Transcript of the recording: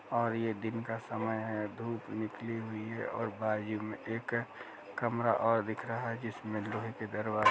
और ये दिन का समय है धूप निकली हुई है और बाजू में एक कमरा और दिख रहा जिसमें लोहे के दरवाजे --